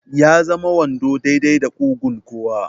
Ya zama wando daidai da ƙugun kowa.